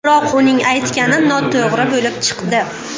Biroq uning aytgani noto‘g‘ri bo‘lib chiqdi.